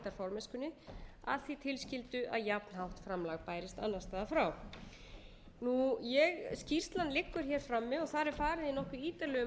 formennskunni að því tilskildu að jafnhátt framlag bærist annars staðar frá skýrslan liggur hér frammi og þar er farið í nokkuð ítarlegu